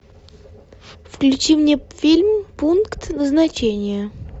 включи мне фильм пункт назначения